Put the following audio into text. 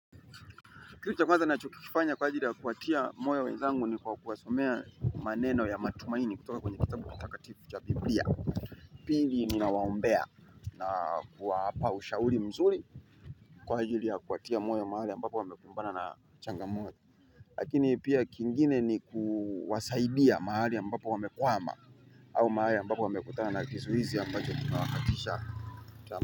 Kilu cha kwanza na chukifanya kwa ajili ya kuatia moyo wezangu ni kwa kuwasomea maneno ya matumaini kutoka kwenye kitabu kutaka tifu cha biblia. Pili ninawaombea na kuwapa ushauri mzuri kwa ajili ya kuatia moyo mahali ambapo wamekumbana na changamoto. Lakini pia kingine ni kuwasaidia mahali ambapo wamekwama au mahali ambapo wamekutana na kisuhizi ambacho kimawakatisha.